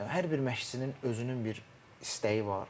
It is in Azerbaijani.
Hər bir məşçinin özünün bir istəyi var.